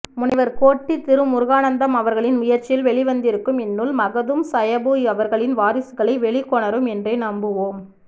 முனைவர் கோட்டி திருமுருகானந்தம்அவர்களின் முயற்சியில் வெளிவந்திருக்கும் இந்நூல் மகுதூம் சாயபு அவர்களின் வாரிசுகளை வெளிக்கொணரும் என்றே நம்புவோம்